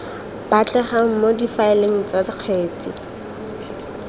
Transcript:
batlegang mo difaeleng tsa kgetse